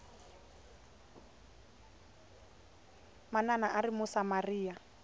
manana a a ri musamariya